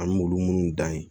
An m'olu munnu dan ye